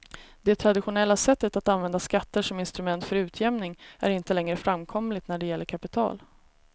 Det traditionella sättet att använda skatter som instrument för utjämning är inte längre framkomligt när det gäller kapital.